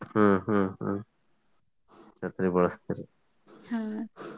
ಹ್ಮ್ ಹ್ಮ್ ಹ್ಮ್ ಛತ್ರಿ ಬಳಸ್ತೀರಿ.